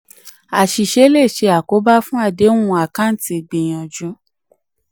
àṣìṣe le ṣe àkóbá fún àdéhùn àkáǹtì ìgbìyànjù.